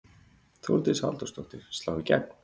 Þórdís Halldórsdóttir: Slá í gegn?